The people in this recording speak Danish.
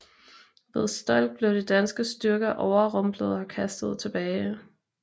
Ved Stolk blev de danske styrker overrumplet og kastet tilbage